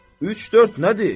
Üç-dörd nədir?